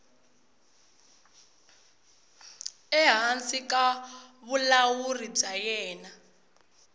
ehansi ka vulawuri bya yena